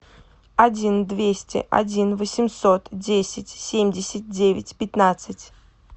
один двести один восемьсот десять семьдесят девять пятнадцать